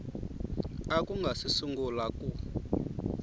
u nga si sungula ku